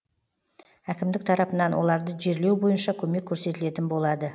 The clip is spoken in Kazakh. әкімдік тарапынан оларды жерлеу бойынша көмек көрсетілетін болады